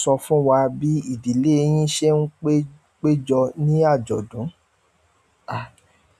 Sọ fún wa bí ìdílé yín ṣe ń pé-péjọ ní àjọ̀dún. À,